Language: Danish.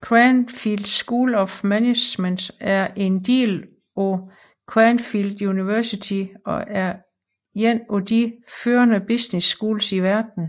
Cranfield School of Management er en del af Cranfield University og er en af de førende business schools i verden